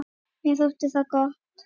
Mér þótti það gott.